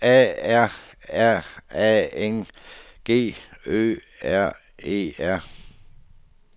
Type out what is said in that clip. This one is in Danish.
A R R A N G Ø R E R